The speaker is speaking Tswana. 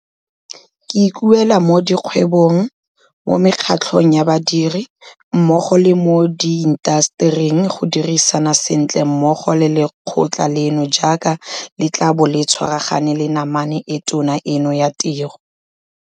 Ke ikuela mo dikgwebong, mo mekgatlhong ya badiri, mmogo le mo diintasetering go dirisana sentle mmogo le lekgotla leno jaaka le tla bo le tshwaragana le namane e tona eno ya tiro.